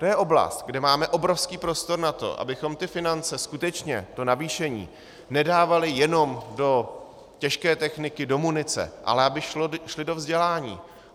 To je oblast, kde máme obrovský prostor na to, abychom ty finance skutečně, to navýšení, nedávali jenom do těžké techniky, do munice, ale aby šly do vzdělání.